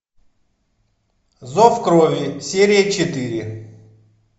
зов крови серия четыре